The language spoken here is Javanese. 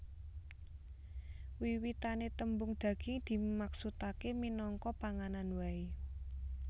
Wiwitané tembung daging dimaksudaké minangka panganan waé